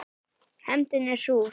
Hefndin er súr.